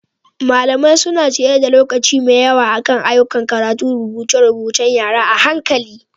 Malamai suna ciyar da lokaci mai yawa akan ayyukan karatu da rubuce-rubuce.ng yara a hankali.